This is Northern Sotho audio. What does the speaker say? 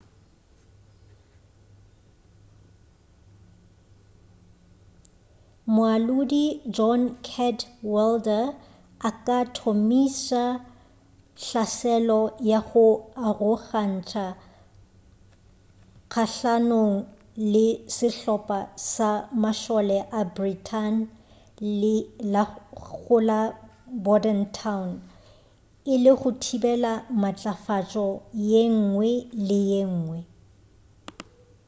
moalodi john cadwalder a ka thomiša hlaselo ya go arogantša kgahlanong le sehlopa sa mašole a britain go la bordentown e le go thibela matlafatšo yengwe le yengwe